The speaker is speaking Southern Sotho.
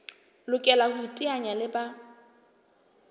lokela ho iteanya le ba